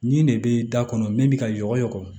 Nin de bɛ da kɔnɔ min bɛ ka yɔgɔ